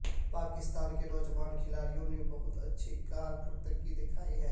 پاکستان کے نوجوان کھلاڑیوں نے بہت اچھی کارکردگی دکھائی ہے